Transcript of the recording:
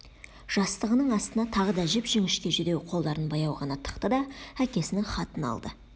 жастығының астына тағы да жіп-жіңішке жүдеу қолдарын баяу ғана тықты да әкесінің хатын алды